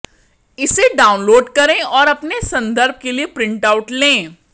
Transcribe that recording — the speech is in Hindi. इसे डाउनलोड करें और अपने संदर्भ के लिए एक प्रिंटआउट लें